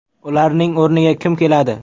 Ularning o‘rniga kim keladi?